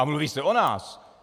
A mluví se o nás...